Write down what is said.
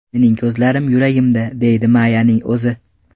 Mening ko‘zlarim yuragimda”, deydi Mayyaning o‘zi.